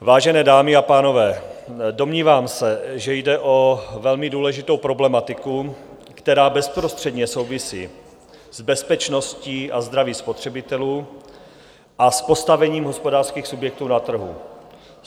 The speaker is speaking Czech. Vážené dámy a pánové, domnívám se, že jde o velmi důležitou problematiku, která bezprostředně souvisí s bezpečností a zdravím spotřebitelů a s postavením hospodářských subjektů na trhu.